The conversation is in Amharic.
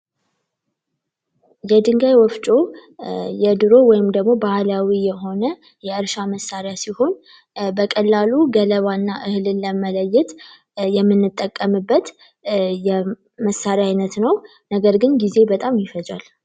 የድንጋይ ወፍጮ የድሮ ወይም ደግሞ ባህላዊ የሆነ የእርሻ መሳሪያ ሲሆን በቀላሉ ገለባና እህልን ለመለየት የምንጠቀምበት የመሳሪያ አይነት ነው ነገርግን ጊዜ በጣም ይፈጃል